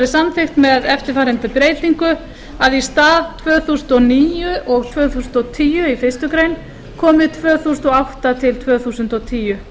samþykkt með eftirfarandi breytingu í stað tvö þúsund og níu og tvö þúsund og tíu í fyrstu grein komi tvö þúsund og átta til tvö þúsund og tíu